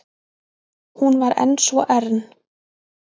Hún var enn svo ern.